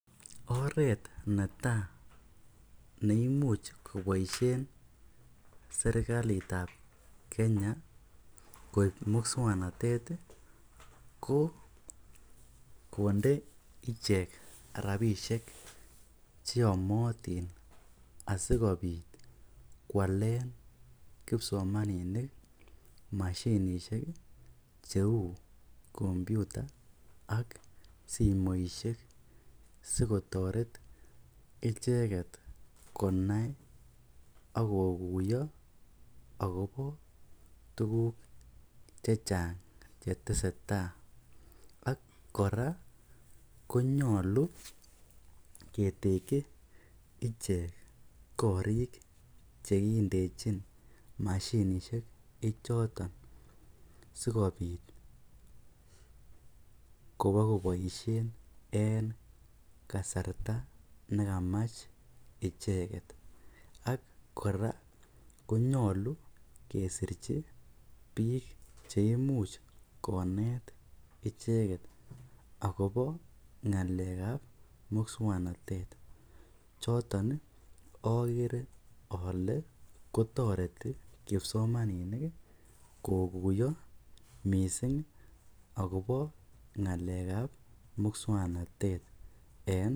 Oreet netaa neimuch koboishen serikalitab Kenya koib muswoknotet ko konde ichek rabishek cheyomotin asikobit kwalen kipsomaninik mashinishek cheu kompyuta ak simoishek sikotoret icheket konai ak kokuiyo akobo tukuk chechang cheteseta ak kora konyolu ketekyi ichek korik chekindejin mashinishe choton sikobit kobokoboishen en kasarta nekamach icheket, ak kora konyolu kesirchi biik chekamach koneet icheket ak kobo ngalekab muswoknotet choton okere olee kotoreti kipsomaninik kokuiyo mising akobo ngalekab muswoknotet en.